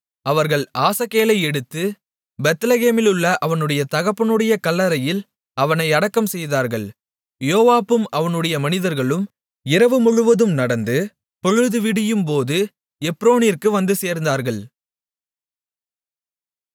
அவர்கள் ஆசகேலை எடுத்து பெத்லெகேமிலுள்ள அவனுடைய தகப்பனுடைய கல்லறையில் அவனை அடக்கம்செய்தார்கள் யோவாபும் அவனுடைய மனிதர்களும் இரவு முழுவதும் நடந்து பொழுது விடியும்போது எப்ரோனிற்கு வந்துசேர்ந்தார்கள்